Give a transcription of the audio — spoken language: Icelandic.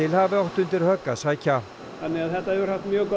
hafi átt undir högg að sækja þannig að þetta hefur haft mjög góð